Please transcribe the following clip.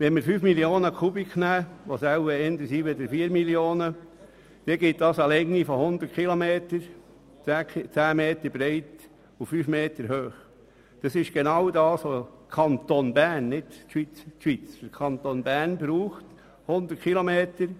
Wenn wir 5 Mio. Kubikmeter nehmen, was wohl eher richtig ist, dann gibt das bei einer Breite von 10 Metern und einer Höhe von 5 Metern eine Länge von 100 Kilometern.